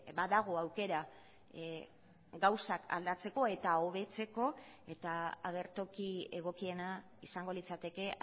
badago aukera gauzak aldatzeko eta hobetzeko eta agertoki egokiena izango litzateke